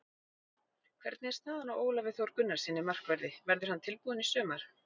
Hvernig er staðan á Ólafi Þór Gunnarssyni, markverði, verður hann tilbúinn í sumar?